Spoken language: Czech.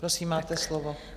Prosím, máte slovo.